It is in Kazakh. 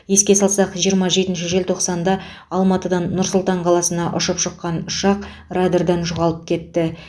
еске салсақ жиырма жетінші желтоқсанда алматыдан нұр сұлтан қаласына ұшып шыққан ұшақ радардан жоғалып кетті